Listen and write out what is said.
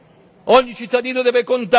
Ogni cittadino deve contare.